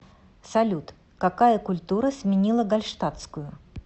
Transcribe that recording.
салют какая культура сменила гальштатскую